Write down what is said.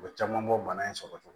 U bɛ caman bɔ bana in sɔrɔ cogo